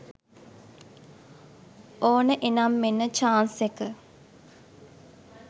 ඕන එනම් මෙන්න චාන්ස් එක.